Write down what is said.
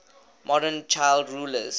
modern child rulers